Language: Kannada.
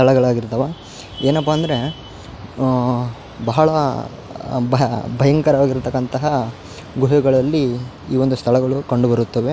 ಕೊಳಗಳಾಗಿರ್ತವ. ಏನಪ್ಪ ಅಂದ್ರೆ ಅ ಬಹಳ ಭ ಬಯಂಕರ ವಾಗಿರ್ತಕ್ಕಂತಹ ಗುಹೆಗಳಲ್ಲಿ ಈ ಒಂದು ಸ್ಥಳಗಳು ಕಂಡುಬರುತ್ತವೆ.